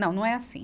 Não, não é assim.